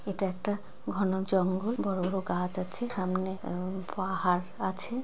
এটা একটা ঘন জঙ্গল বড়ো বড়ো গাছ আছে সামনে আহ পাহাড় আছে।